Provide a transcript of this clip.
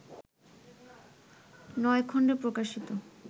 নয় খণ্ডে প্রকাশিত